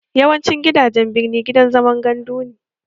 Yawancin gidajen birni gidan zaman gandu ne